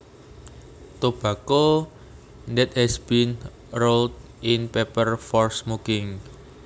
Tobacco that has been rolled in paper for smoking